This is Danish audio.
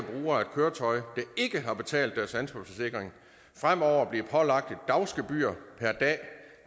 bruger af et køretøj der ikke har betalt deres ansvarsforsikring fremover bliver pålagt et dagsgebyr per dag